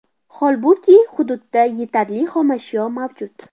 Holbuki, hududda yetarli xomashyo mavjud.